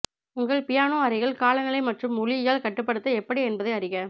உங்கள் பியானோ அறையில் காலநிலை மற்றும் ஒலியியல் கட்டுப்படுத்த எப்படி என்பதை அறிக